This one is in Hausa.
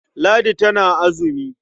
Ladi tana azumi.